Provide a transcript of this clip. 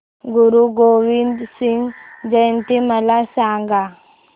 गुरु गोविंद सिंग जयंती मला सांगा